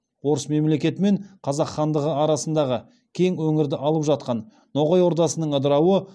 орыс мемлекеті мен қазақ хандығы арасындағы кең өңірді алып жатқан ноғай ордасының ыдырауы